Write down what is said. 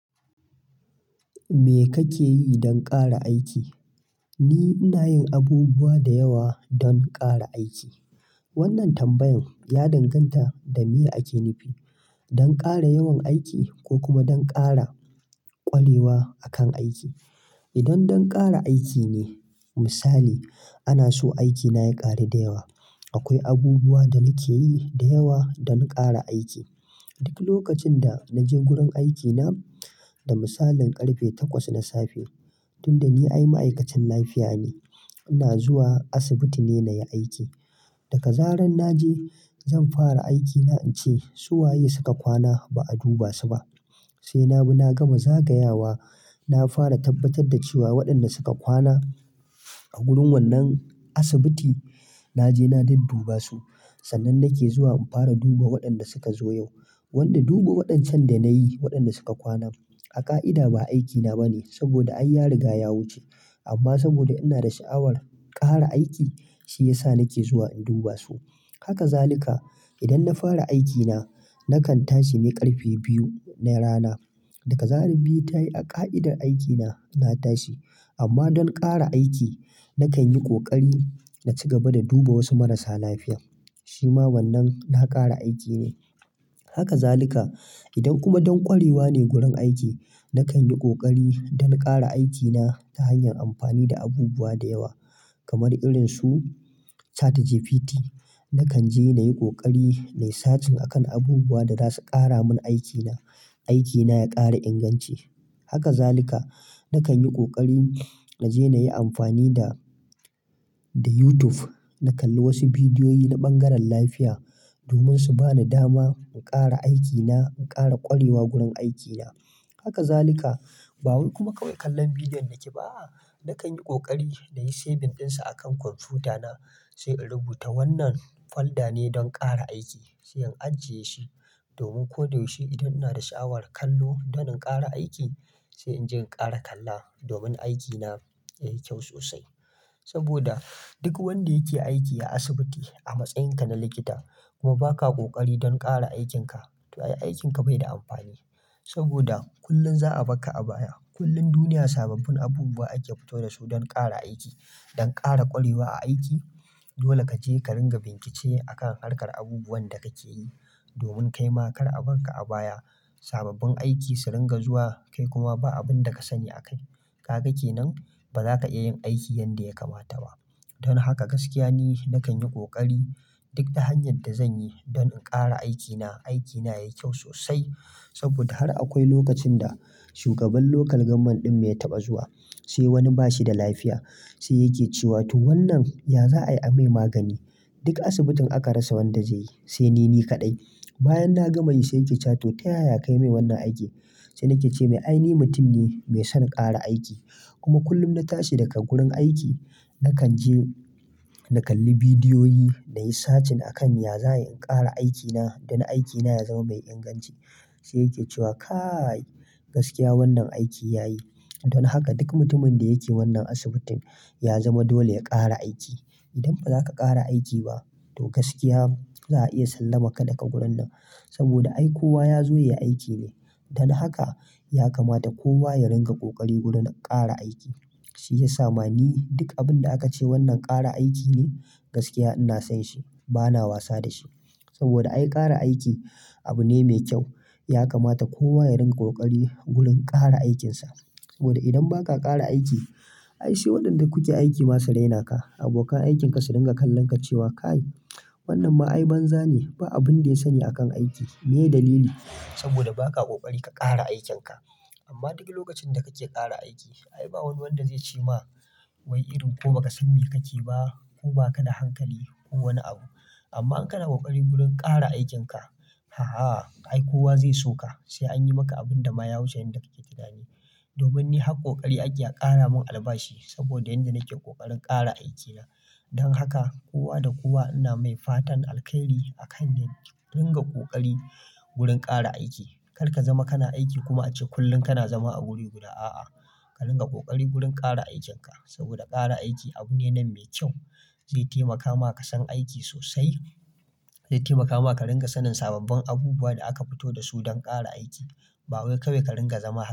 Me kake yi don ƙara aiki? Ni ina yin abubuwa da yawa don ƙara aiki. Wannan tambayan ya danganta da meye ake nufi don ƙara yawan aiki ko kuma don ƙara ƙwarewa a kan aiki. Idan don ƙara aiki ne misali ana so aikina ya ƙaru da yawa. Akwai abubuwa da nake yi da yawa don ƙara aiki. Duk lokacin da naje gurin aikina da misalin ƙarfe takwas na safe tun da ni ai ma'aikacin lafiya ne. Ina zuwa asibiti ne na yi aiki. Daga zaran naje zan fara aikina in ce su waye suka kwana ba'a duba su ba? Sai na bi na gama zagayawa. Na fara tabbatar da cewa waɗanda suka kwana a gurin wannan asibiti naje na dudduba su. Sannan nake zuwa in fara duba waɗanda suka zo yau. Wanda duba waɗancan da na yi waɗanda suka kwana. A ƙa'ida ba aikina ba ne saboda ai ya riga ya wuce, amma saboda ina da sha'awar ƙara aiki shi ya sa nake zuwa in duba su. Haka zalika. Idan na fara aikina, nakan tashi ne ƙarfe biyu na rana. Daga zarar biyu ta yi a ƙa'idar aikina na tashi. Amma don ƙara aiki, nakan yi ƙoƙari na ci gaba da duba wasu marasa lafiya. Shi ma wannan na ƙara aiki ne. Haka zalika. Idan kuma don ƙwarewa ne gurin aiki nakan yi ƙoƙari don ƙara aikina ta hanyar amfani da abubuwa da yawa kamar irin su ChatGPT. Nakan je na yi ƙoƙari na yi sacin akan abubuwa da za su ƙara mun aikina. Aikina ya ƙara inganci. Haka zalika. Nakan yi ƙoƙari na je na yi amfani da YouTube. Na kalli wasu bidiyoyi na bangaren lafiya domin su ba ni dama in ƙara aikina, in ƙara ƙwarewa gurin aikina. Haka zalika. Bawai kuma kawai kallon bidiyon da ke ba. A'a Nakan yi ƙoƙari na yi saving ɗinsa akan kwamfutana. Sai in rubuta wannan folder ne don ƙara aiki. Sai in ajiye shi domin ko da yaushe idan ina da sha'awar kallo don in ƙara aiki. Sai inje in ƙara kalla domin aikina ya yi kyau sosai. Saboda duk wanda yake aiki a asibiti a matsayinka na likita kuma ba ka ƙoƙari don ƙara aikinka. To, aikinka bai da amfani saboda kullum za'a bar ka a baya. Kullum duniya sababbin abubuwa ake fito da su don ƙara aiki don ƙara ƙwarewa a aiki. Dole kaje ka ringa bincike akan harkar abubuwan da kake yi domin kai ma kar a bar ka a baya. Sababbin aiki su ringa zuwa kai kuma ba abunda ka sani akai. Ka ga kenan ba za ka iya yin aiki yadda ya kamata ba. Don haka gaskiya ni nakan yi ƙoƙari duk ta hanyan da zanyi don in ƙara aikina. Aikina yayi kyau sosai saboda har akwai lokacin da shugaban lokal gamman ɗin mu ya taɓa zuwa, sai wani bashi da lafiya sai yake cewa to wannan ya za a yi a mai magani? Duk asibitin aka rasa wanda zai yi sai ni ni kaɗai. Bayan na gama yi sai yake cewa to ta yaya ka yi mai wannan aiki? Sai nake ce mai ai ni mutum ne mai son ƙara aiki. Kuma kullum na tashi daga gurin aiki. Nakan je na kalli bidiyoyi na yi searching akan ya za'a yi in ƙara aikina don aikina ya zama mai inganci. Sai yake cewa kai gaskiya wannan aiki ya yi. Don haka duk mutumin da yake wannan asibitin ya zama dole ya ƙara aiki. Idan ba za ka ƙara aiki ba to gaskiya za'a iya salaman ka daga gurin nan. Saboda ai kowa ya zo ya yi aiki ne. Don haka ya kamata kowa ya ringa ƙoƙari gurin ƙara aiki. Shi ya sa ma ni duk abin da aka ce wannan ƙara aiki ne. Gaskiya ina son shi, bana wasa da shi. Saboda ai ƙara aiki abu ne mai kyau. Ya kamata kowa ya ringa ƙoƙari gurin ƙara aikinsa. Saboda idan ba ka ƙara aiki ai sai waɗanda kuke aiki ma su raina ka. Abokan aikinka su ringa kallon ka cewa kai wannan ma ai banza ne. Ba abun da ya sani a kan aiki. Meye dalili? Saboda ba ka ƙoƙari ka ƙara aikinka. Amma duk lokacin da kake ƙara aiki ai ba wani wanda zai ce ma wai irin ko ba ka san me ka ke ba ko ba ka da hankali ko wani abu. Amma in kana ƙoƙari gurin ƙara aikinka. Aha ai kowa zai so ka. Sai an yi maka abun da ma ya wuce yadda kake tunani. Domin ni har koƙari ake a ƙara mun albashi. Saboda yanda nake ƙoƙarin ƙara aikina. Don haka kowa da kowa ina mai fatan alkairi akan mu ringa ƙoƙari gurin ƙara aiki. Kar ka zama kana aiki kuma ace kullum kana zama a wuri guda. A'a, ka ringa ƙoƙari gurin ƙara aikinka. Saboda ƙara aiki abu ne nan mai kyau zai taimaka ma ka san aiki sosai. Zai taimaka maka ringa sanin sababbin abubuwa da aka fito da su don ƙara aiki. Babu wai kawai ka ringa zama.